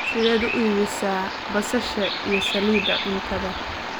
Sideed u iibisaa basasha iyo saliidda cuntada?